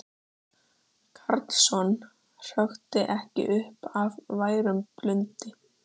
Karlsson hrökkvi ekki upp af værum blundi.